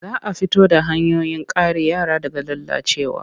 Za a fito da hanyoyin kare yara daga lalacewa.